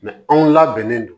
anw labɛnnen don